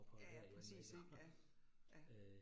Ja ja præcis ik, ja, ja